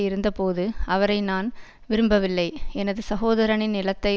இருந்தபோது அவரை நான் விரும்பவில்லை எனது சகோதரனின் நிலத்தை